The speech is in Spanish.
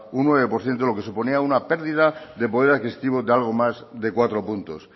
un nueve por ciento lo que suponía una pérdida de poder adquisitivo de algo más de cuatro puntos